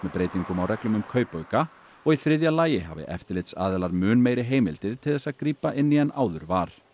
breytingum á reglum um kaupauka og í þriðja lagi hafi eftirlitsaðilar mun meiri heimildir til þess að grípa inn í en áður var